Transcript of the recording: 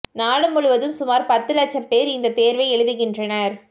நாடு முழுவதும் சுமார் பத்து லட்சம் பேர் இந்த தேர்வை எழுதுகின்றனர்